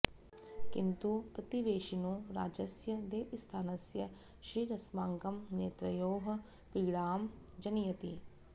किंतु प्रतिवेशिनो राज्यस्य देवस्थानस्य श्रीरस्माकं नेत्रयोः पीडां जनयति